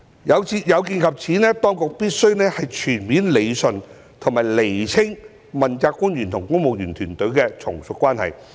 有見及此，當局必須全面理順及釐清問責官員與公務員團隊的從屬關係。